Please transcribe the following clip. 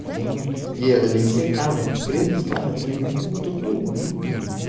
это им линзы камер прежде скармливаем комнату ну минимум